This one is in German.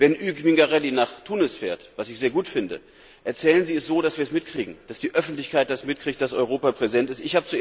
Wenn Hugues Mingarelli nach Tunis fährt was ich sehr gut finde erzählen Sie es so, dass wir es mitkriegen und dass die Öffentlichkeit mitkriegt, dass Europa präsent ist.